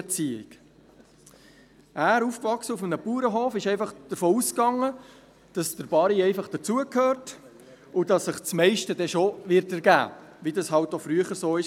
Er – aufgewachsen auf einem Bauernhof – ging einfach davon aus, dass der «Barry» einfach dazu gehört und dass sich das meiste dann schon ergeben wird, wie das halt auch früher war.